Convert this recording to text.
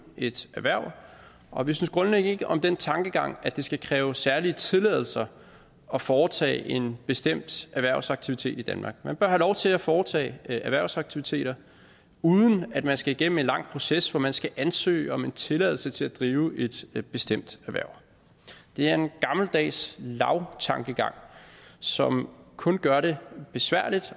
et erhverv og vi synes grundlæggende ikke om den tankegang at det skal kræve særlige tilladelser at foretage en bestemt erhvervsaktivitet i danmark man bør have lov til at foretage erhvervsaktiviteter uden at man skal igennem en lang proces hvor man skal ansøge om en tilladelse til at drive et et bestemt erhverv det er en gammeldags lavstankegang som kun gør det besværligt